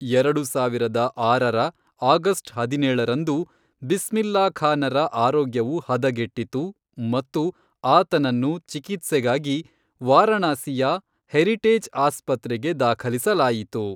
ಎರಡು ಸಾವಿರದ ಆರರ ಆಗಸ್ಟ್ ಹದಿನೇಳರಂದು, ಬಿಸ್ಮಿಲ್ಲಾ ಖಾನರ ಆರೋಗ್ಯವು ಹದಗೆಟ್ಟಿತು ಮತ್ತು ಆತನನ್ನು ಚಿಕಿತ್ಸೆಗಾಗಿ ವಾರಣಾಸಿಯ ಹೆರಿಟೇಜ್ ಆಸ್ಪತ್ರೆಗೆ ದಾಖಲಿಸಲಾಯಿತು.